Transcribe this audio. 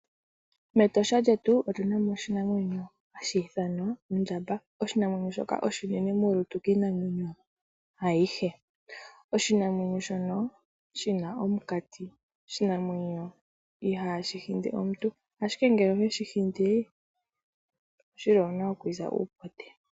Metosha lyetu omuna oshinamwenyo shoka hashi ithanwa ondjamba noshinamwenyo shika oshinene molutu shivule iinamwenyo iikwawo. Oshinamwenyo shika oshina omukati sho ihashi hindi omuntu ashike ngele oweshi hindi owuna okwiiza uupote.